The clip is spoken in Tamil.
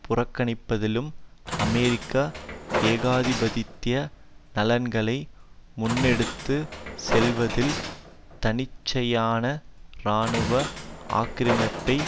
புறக்கணிப்பதிலும் அமெரிக்க ஏகாதிபத்திய நலன்களை முன்னெடுத்து செல்வதில் தன்னிச்சையான இராணுவ ஆக்கிரமிப்பை